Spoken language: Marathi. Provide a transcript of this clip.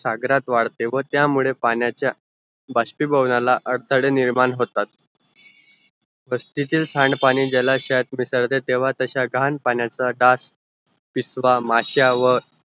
सागरात वाढते व त्यामुळे पाण्याचा भासपीभवनाला व अडताळे निर्माण होतात वस्तीतील सांडपाणी जलाशयात मिसळते तेव्हा तस्य घाण पाण्याचा डास, पिसवा, माश्या व